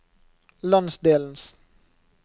landsdelens